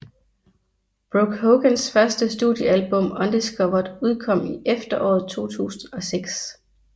Brooke Hogans første studiealbum Undiscovered udkom i efteråret 2006